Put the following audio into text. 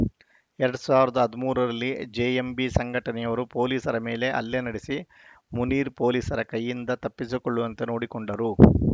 ಎರಡ್ ಸಾವಿರದ ಹದಿಮೂರರಲ್ಲಿ ಜೆಎಂಬಿ ಸಂಘಟನೆಯವರು ಪೊಲೀಸರ ಮೇಲೆಯೇ ಹಲ್ಲೆ ನಡೆಸಿ ಮುನೀರ್‌ ಪೊಲೀಸರ ಕೈಯಿಂದ ತಪ್ಪಿಸಿಕೊಳ್ಳುವಂತೆ ನೋಡಿಕೊಂಡರು